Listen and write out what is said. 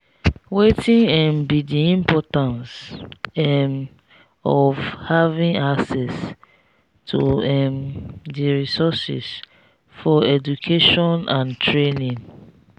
wetin um be di importance um of having access to um di resources for education and training?